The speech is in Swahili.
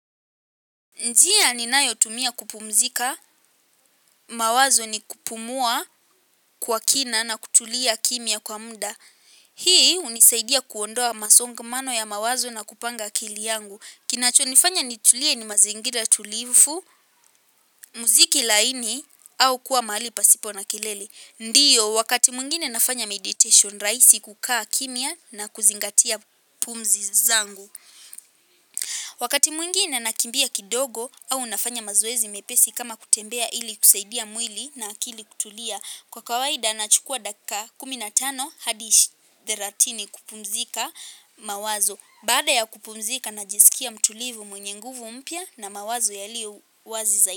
Njia ninayo tumia kupumzika mawazo ni kupumuwa kwa kina na kutulia kimya kwa muda. Hii unisaidia kuondoa masongamano ya mawazo na kupanga akiliangu. Kinacho nifanya nitulie ni mazingira tulifu, muziki laini au kua mahali pasipo na kelele. Ndiyo wakati mwingine nafanya meditation raisi kukaa kimya na kuzingatia pumzi zangu. Wakati mwingine na kimbia kidogo au unafanya mazoezi mepesi kama kutembea ili kusaidia mwili na akili kutulia. Kwa kawaida nachukua dakika kuminatano hadi ishi theratini kupumzika mawazo. Baada ya kupumzika na jiskia mtulivu mwenye nguvu mpya na mawazo yaliyo wazi zaidi.